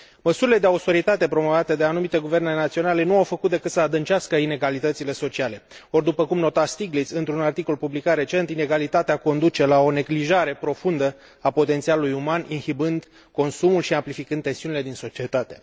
Măsurile de austeritate promovate de anumite guverne naționale nu au făcut decât să adâncească inegalitățile sociale. Or, după cum nota Stiglitz într un articol publicat recent, inegalitatea conduce la o neglijare profundă a potențialului uman, inhibând consumul și amplificând tensiunile din societate.